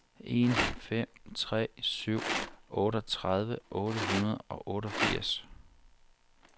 en fem tre syv otteogtredive otte hundrede og otteogfirs